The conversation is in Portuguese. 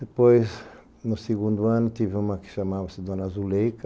Depois, no segundo ano, tive uma que chamava-se Dona Azuleika.